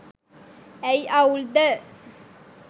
ඇයි අවුල්ද